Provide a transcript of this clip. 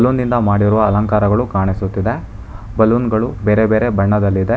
ಲೂನಿಂದ ಮಾಡಿರುವ ಅಲಂಕಾರಗಳು ಕಾಣಿಸುತ್ತಿದೆ ಬಲೂನ್ ಗಳು ಬೇರೆ ಬೇರೆ ಬಣ್ಣದಲ್ಲಿದೆ.